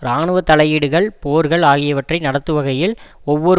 இராணுவ தலையீடுகள் போர்கள் ஆகியவற்றை நடத்துவகையில் ஒவ்வொரு